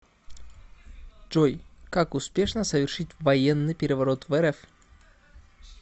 джой как успешно совершить военный переворот в рф